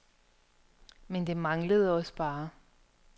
Men det manglede også bare.